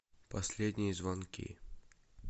последние звонки